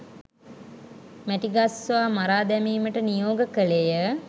මැටිගස්සවා මරා දැමීමට නියෝග කළේය